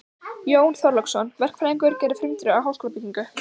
Jón Þorláksson, verkfræðingur, gerði frumdrög að háskólabyggingu